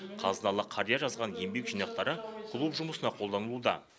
қазыналы қария жазған еңбек жинақтары клуб жұмысына қолданылуда